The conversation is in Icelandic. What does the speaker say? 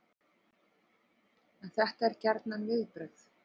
En þetta eru gjarnan viðbrögð